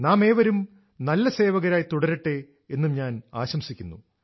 നാമേവരും നല്ല സേവകരായി തുടരട്ടെ എന്നു ഞാൻ ആശംസിക്കുന്നു